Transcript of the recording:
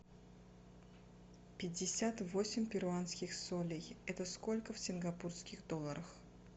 пятьдесят восемь перуанских солей это сколько в сингапурских долларах